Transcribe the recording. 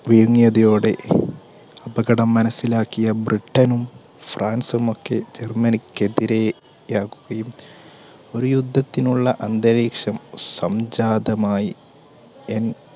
വിഴുങ്ങിയതയോടെ അപകടം മനസ്സിലാക്കിയ ബ്രിട്ടനും, ഫ്രാൻസും ഒക്കെ ജർമ്മനിക്കെതിരെ ഒരു യുദ്ധത്തിനുള്ള അന്തരീക്ഷം സംജാതമായി. എ